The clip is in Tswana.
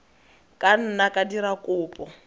ka nna ba dira kopo